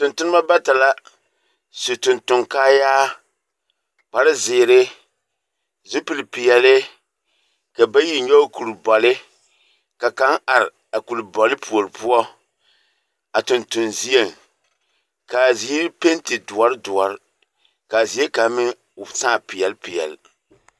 Tontonnemɔ bata la su tontoŋkaayaa, kparzeere, zupilpeɛle, ka bayi nyɔge kurbɔle. Ka kaŋ ar a kurbɔle puor poɔ a tonton zieŋ. K'a ziiri penti doɔr doɔr, k'a zie kaŋ meŋ sãã peɛlpeɛl.